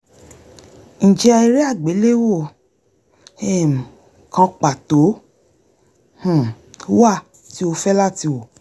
ǹjẹ́ eré àgbéléwò um kan pàtó um wà tí o fẹ́ lati wò?